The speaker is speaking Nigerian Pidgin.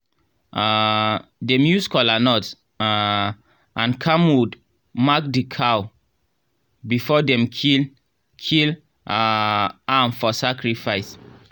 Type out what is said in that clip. um dem use kolanut um and camwood mark the cow before dem kill kill um am for sacrifice.